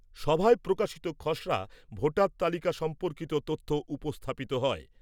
সভায় প্রকাশিত খসড়া ভোটার তালিকা সম্পর্কিত তথ্য উপস্থাপিত হয়।